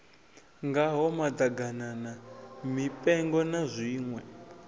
ngaho maḓaganana mipengo na zwiṋwe